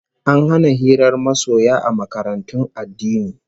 An hana hirar masoya a makarantun addini